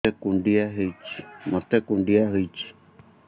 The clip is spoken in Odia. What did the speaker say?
ମୋତେ କୁଣ୍ଡିଆ ହେଇଚି